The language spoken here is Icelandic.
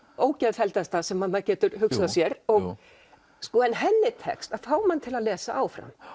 ógeðfelldasta sem maður getur hugsað sér en henni tekst að fá mann til að lesa áfram